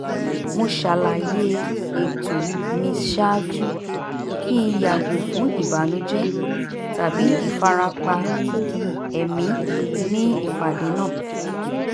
mo ṣàlàyé ètò mi ṣáájú kí n yàgò fún ìbànújẹ tabi ìfarapa ẹ̀mí ní ipàdé náà